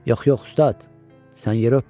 Yox, yox, ustad, sən yeri öpmə.